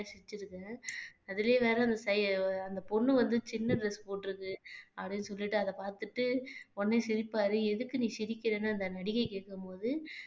சிரிச்சிருக்கேன் அதுலயும் வேற அந்த பொண்ணு வந்து சின்ன dress போட்டிருக்கு அப்படின்னு சொல்லிட்டு அத பார்த்துட்டு உடனே சிரிப்பாரு எதுக்கு நீ சிரிக்கிறன்னு அந்த நடிகை கேட்கும்போது